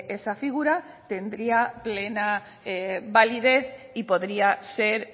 esa figura tendría plena validez y podría ser